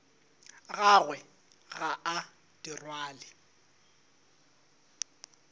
gagwe ga a di rwale